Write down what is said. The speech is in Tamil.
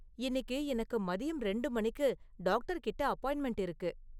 இன்னிக்கு எனக்கு மதியம் ரெண்டு மணிக்கு டாக்டர்கிட்ட அப்பாயிண்ட்மெண்ட் இருக்கு